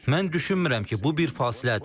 Mən düşünmürəm ki, bu bir fasilədir.